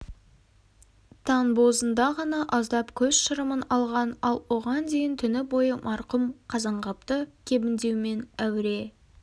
таң бозында ғана аздап көз шырымын алған ал оған дейін түні бойы марқұм қазанғапты кебіндеумен әуре